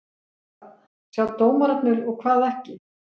Hvað sjá dómararnir og hvað ekki?